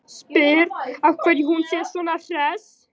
Spyr af hverju hún sé svona hress.